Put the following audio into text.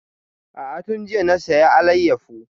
A'a tun jiya na saya alayyafo